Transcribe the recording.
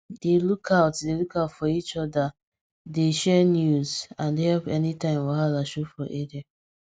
we dey look out dey look out for each other dey share news and help anytime wahala show for area